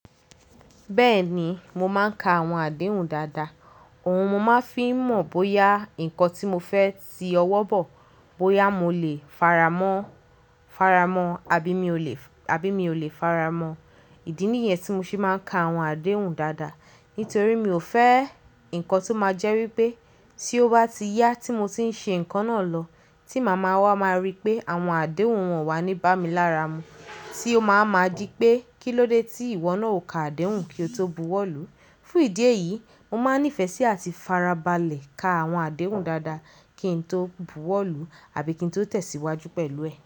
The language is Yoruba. Bẹ́ẹ̀ni, mo máa ń ka àwọn àdéhùn dáadáa. Òun mo máa ń fi mọ̀ bóyá nǹkan tí mo fẹ́ ti ọwọ́ bọ̀, bóyá mo lè faramọ́, faramọ́ àbí mi ò lè, àbí mi ò lè faramọ́. Ìdí nìyẹn tí mo ṣe máa ń ka àwọn àdéhùn dáadáa. Nítorí mi ò fẹ́ nǹkan tó máa jẹ́ wípé tí ó bá ti yá tí mo ti ń ṣe ǹkan náà lọ, tí màmá wa máa rí pé àwọn àdéhùn wọ̀n wá níbá mi lára mu, tí ó máa wa ma di pé kílódé tí ìwọ náà ò ka àdéhùn kí o tó buwọ́lù. Fún ìdí èyí, mo máa ń nífẹ̀ẹ́ sí àti fara balẹ̀ ka àwọn àdéhùn dáadáa kí n tó buwọ́lù àbí kí n tó tẹ̀síwájú pẹ̀lú ẹ̀